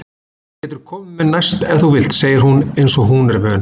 Þú getur komið með næst ef þú vilt, segir hún einsog hún er vön.